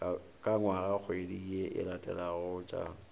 ka ngwagakgwedi ye e latelagotša